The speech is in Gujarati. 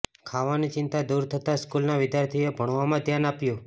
ખાવાની ચિંતા દૂર થતાં સ્કૂલના વિદ્યાર્થીઓએ ભણવામાં જ ધ્યાન આપ્યું